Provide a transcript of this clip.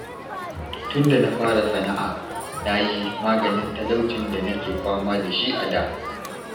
Tunda na fara sana'a na yi maganin talaucin da nake fama da shi a da